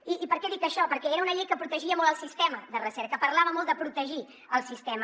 i per què dic això perquè era una llei que protegia molt el sistema de recerca parlava molt de protegir el sistema